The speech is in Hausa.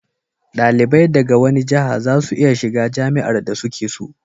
dalibai daga wani jaha za su iya shiga jami'ar da su ke so